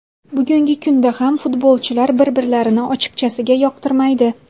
Bugungi kunda ham futbolchilar bir-birlarini ochiqchasiga yoqtirmaydi.